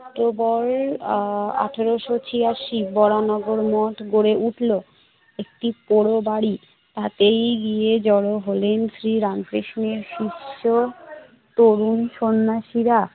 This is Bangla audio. অক্টোবরের আহ আঠারোশ ছিয়াশি বরাহনগর মঠ গড়ে উঠল। একটি পৌর বাড়ি, তাতেই গিয়ে জড়ো হলেন শ্রী রামকৃষ্ণের সুস্থ তরুণ সন্ন্যাসীরা।